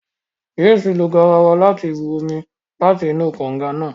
James lo garawa láti bù omí láti inú kànga náà